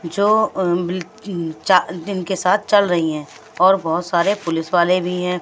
जो अह इनके साथ चल रही हैं और बहुत सारे पुलिस वाले भी हैं।